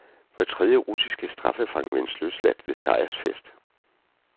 Hver tredje russiske straffefange ventes løsladt ved sejrsfest.